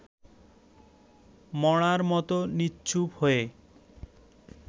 মড়ার মতো নিশ্চুপ হয়ে